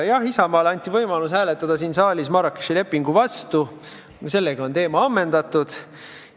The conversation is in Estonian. Jah, Isamaale anti võimalus hääletada siin saalis Marrakechi lepingu vastu, sellega on teema ammendatud.